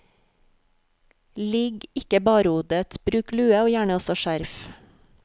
Ligg ikke barhodet, bruk lue og gjerne også skjerf.